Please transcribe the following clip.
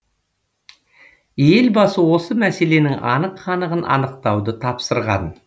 елбасы осы мәселенің анық қанығын анықтауды тапсырған